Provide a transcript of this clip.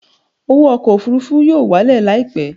Owó ọkọ̀ òfurufú yóò wálẹ̀ láìpẹ́